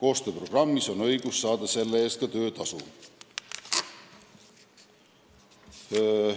koostööprogrammis, on õigus saada selle eest töötasu.